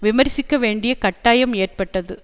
விமர்சிக்க வேண்டிய கட்டாயம் ஏற்பட்டது